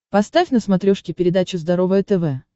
поставь на смотрешке передачу здоровое тв